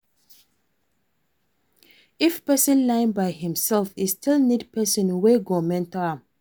If persin learn by himself e still need persin wey go mentor am